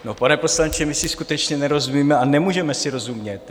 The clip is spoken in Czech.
No, pane poslanče, my si skutečně nerozumíme a nemůžeme si rozumět.